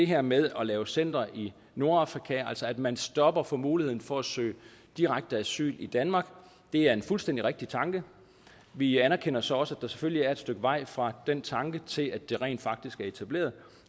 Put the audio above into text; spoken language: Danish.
her med at lave centre i nordafrika altså at man stopper for muligheden for at søge direkte asyl i danmark er en fuldstændig rigtig tanke vi anerkender så også at der selvfølgelig er et stykke vej fra den tanke til at det rent faktisk er etableret